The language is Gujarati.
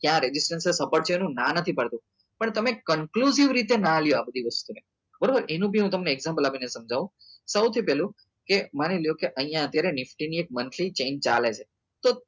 ત્યાં રેગીસ્તાન છે support છે એનું હું ના નથી પાડતો પણ તમે confusive રીતે નાં લો આ બધી વસ્તુ ને બરાબર એનું બી હું તમને example આપી ને સમજાઉં સૌથી પેલું કે માની લો કે અહિયાં અત્યારે nifty ની એક monthly chain ચાલે છે તો